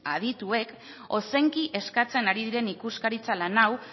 adituek ozenki eskatzen ari diren ikuskaritza lan hau